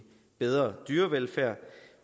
bedre dyrevelfærd